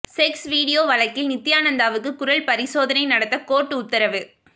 sex video வழக்கில் நித்தியானந்தாவுக்கு குரல் பரிசோதனை நடத்த கோர்ட்டு உத்தரவு